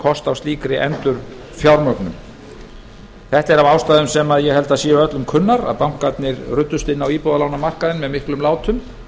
kost á slíkri endurfjármögnun þetta er af ástæðum sem ég held að séu öllum kunnar að bankarnir ruddust inn á íbúðalánamarkaðinn með miklum látum